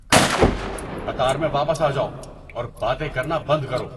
کارتک! قطار میں واپس آ جاؤ اور باتیں کرنا بند کر دو۔